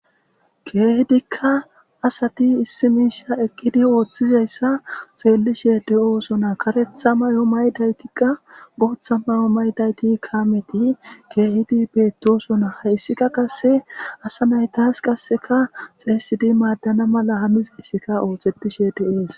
Keehidika asati issi misha eqidi oothizaysa xelishe de'osona, karetha mayo mayidaydaytika, bootha mayo mayidayti kameti keehidi betosona, haysika qase asanaytasi xeysidi maadana mala hanizaysika oothetishe de'esi.